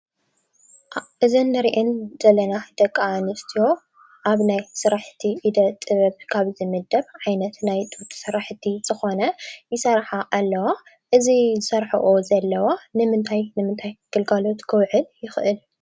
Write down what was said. እዘን ንሪአን ዘለና ደቂኣንስትዮ ኣብ ናይ ስራሕቲ እደ-ጥበብ ካብ ዝምደብ ዓይነት ናይ ኢድ ስራሕቲ ዝኾነ ይሰርሓ ኣለዋ። እዚ ዝሰርሐኦ ዘለዋ ንምንታይ ንምንታይ ግልጋሎት ክውዕል ይኽእል?